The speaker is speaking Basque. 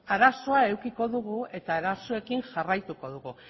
arazoa edukiko dugu eta arazoekin jarraituko dugu